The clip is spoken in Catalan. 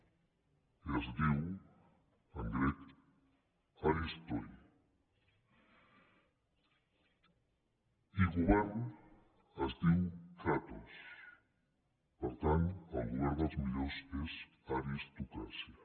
i es diu en grec aristoigovern es diu kratos per tant el govern dels millors és aristocràcia